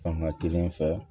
Fanga kelen fɛ